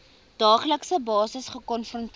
daaglikse basis gekonfronteer